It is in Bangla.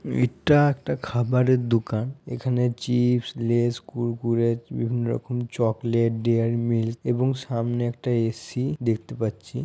ইটা একটা খাবারের দুকান। এখানে চিপস লেস কুড়কুড়ে বিভিন্ন রকম চকলেট ডেয়ারি মিল্ক এবং সামনে একটা এ.সি. দেখতে পাচ্ছি।